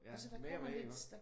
Jo mere og mere iggås?